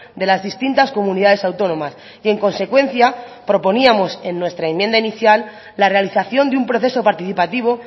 de las distintas comunidades autónomas y en consecuencia proponíamos en nuestra enmienda inicial la realización de un proceso participativo